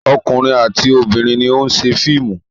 Ọkùnrin àti obìnrin ni ó ń ṣe fíìmù.